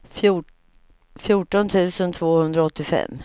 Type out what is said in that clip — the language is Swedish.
fjorton tusen tvåhundraåttiofem